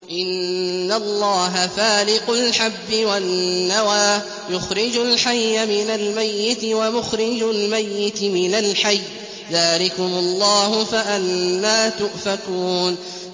۞ إِنَّ اللَّهَ فَالِقُ الْحَبِّ وَالنَّوَىٰ ۖ يُخْرِجُ الْحَيَّ مِنَ الْمَيِّتِ وَمُخْرِجُ الْمَيِّتِ مِنَ الْحَيِّ ۚ ذَٰلِكُمُ اللَّهُ ۖ فَأَنَّىٰ تُؤْفَكُونَ